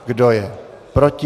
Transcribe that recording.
Kdo je proti?